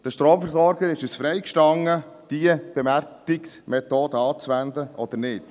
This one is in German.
Den Stromversorgern ist es freigestanden, diese Bewertungsmethode anzuwenden oder nicht.